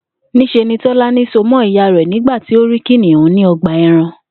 Ní s̩e Tó̩lání so mó̩ ìyá rè̩ nígbà tí ó rí kìnìún ní o̩gbà e̩ran